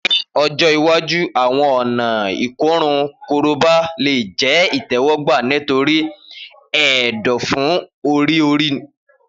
Ni ọjọ iwaju awọn ọna ikorun Koroba le jẹ itẹwọgba nitori ẹdọfu ori-ori.